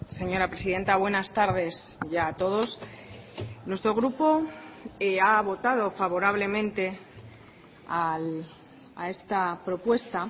señora presidenta buenas tardes ya a todos nuestro grupo ha votado favorablemente a esta propuesta